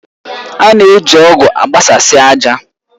A na-eji ọ̀gu agbasasi ájà.